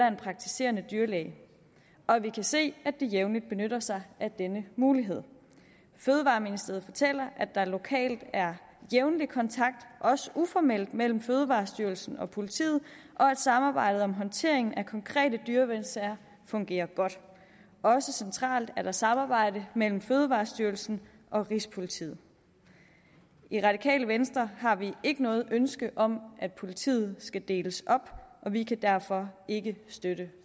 en praktiserende dyrlæge og vi kan se at de jævnligt benytter sig af denne mulighed fødevareministeriet fortæller at der lokalt er jævnlig kontakt også uformelt mellem fødevarestyrelsen og politiet og at samarbejdet om håndtering af konkrete dyrevelfærdssager fungerer godt også centralt er der samarbejde mellem fødevarestyrelsen og rigspolitiet i det radikale venstre har vi ikke noget ønske om at politiet skal deles op og vi kan derfor ikke støtte